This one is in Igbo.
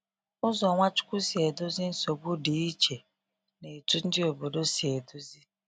Ụzọ Nwachukwu si edozi nsogbu dị iche na etu ndị obodo si edozi.